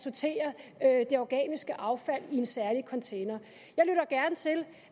er at det organiske affald i en særlig container